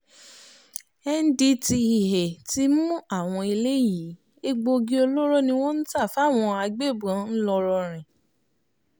N-D-T-E-A ti mú àwọn eléyìí egbòogi olóró ni wọ́n ń tà fáwọn agbébọn ńlọrọrìn